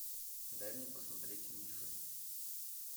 дай мне посмотреть мифы